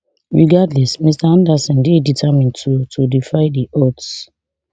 regardless mr anderson dey determined to to defy di odds